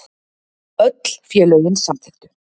Öll félögin samþykktu